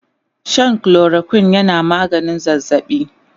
Shan chloroquine yana maganin zazzabi